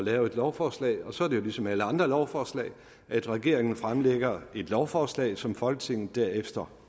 lave et lovforslag og så er det jo ligesom ved alle andre lovforslag at regeringen fremsætter et lovforslag som folketinget derefter